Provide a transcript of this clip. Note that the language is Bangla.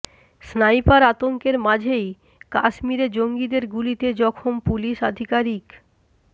স্নাইপার আতঙ্কের মাঝেই কাশ্মীরে জঙ্গিদের গুলিতে জখম পুলিশ আধিকারিক